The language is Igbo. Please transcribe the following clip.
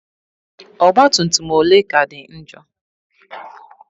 Ọgbatumtum ole ka dị njọ?